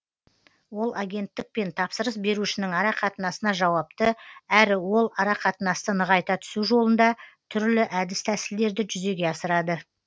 ол агенттік пен тапсырыс берушінің арақатынасына жауапты әрі ол арақатынасты нығайта түсу жолында түрлі әдіс тәсілдерді жүзеге асырады